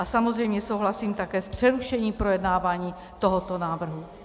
A samozřejmě souhlasím také s přerušením projednávání tohoto návrhu.